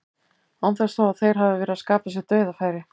Án þess þó að þeir hafi verið að skapa sér dauðafæri.